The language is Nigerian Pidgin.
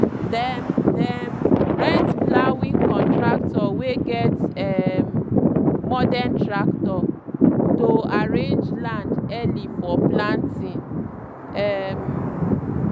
dem dem rent ploughing contractor wey get um modern tractor to arraange land early for planting. um